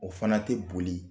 O fana tɛ boli